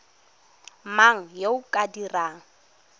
mang yo o ka dirang